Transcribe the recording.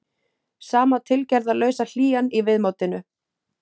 Sama tilgerðarlausa hlýjan í viðmótinu.